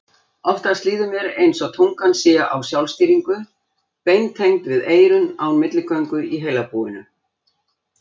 Oftast líður mér einsog tungan sé á sjálfstýringu, beintengd við eyrun án milligöngu í heilabúinu.